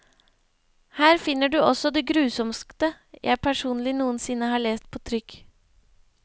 Her finner du også det grusomste jeg personlig noensinne har lest på trykk.